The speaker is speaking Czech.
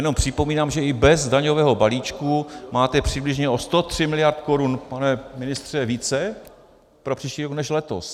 Jenom připomínám, že i bez daňového balíčku máte přibližně o 130 miliard korun - pane ministře - více pro příští rok než letos.